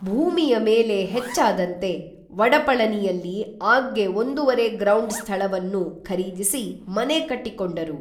ಭೂಮಿಯ ಮೇಲೆ ಹೆಚ್ಚಾದಂತೆ ವಡಪಳನಿಯಲ್ಲಿ ಆಗ್ಗೆ ಒಂದುವರೆ ಗ್ರೌಂಡ್ ಸ್ಥಳವನ್ನು ಖರೀದಿಸಿ ಮನೆ ಕಟ್ಟಿಕೊಂಡರು